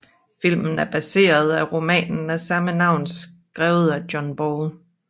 Filmen er baseret af romanen af samme navn skrevet af John Ball